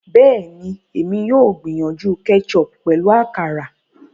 Bẹẹni, èmi yóò gbìyànjú ketchup pẹlu àkàrà